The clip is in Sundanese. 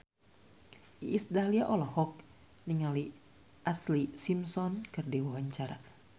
Iis Dahlia olohok ningali Ashlee Simpson keur diwawancara